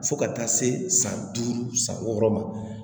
Fo ka taa se san duuru san wɔɔrɔ ma